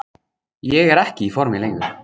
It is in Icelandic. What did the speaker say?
Ég er ekki í formi lengur.